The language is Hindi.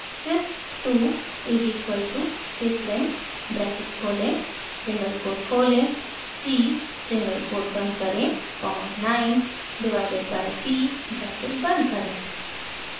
sys 2 is equal to syslin bracket खोलें सिंगल कोट खोलें c सिंगल कोट बंद करें comma 9 divided by p bracket बंद करें